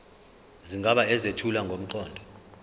izigaba ezethula ngomqondo